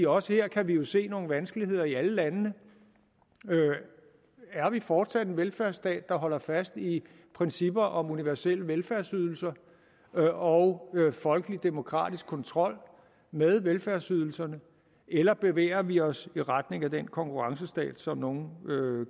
også her kan vi jo se nogle vanskeligheder i alle landene er vi fortsat en velfærdsstat der holder fast i principper om universelle velfærdsydelser og og folkelig demokratisk kontrol med velfærdsydelserne eller bevæger vi os i retning af den konkurrencestat som nogle